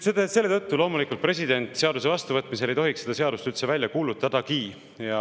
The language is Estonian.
Selle tõttu loomulikult ei tohiks president seaduse vastuvõtmise korral seda seadust üldse välja kuulutada.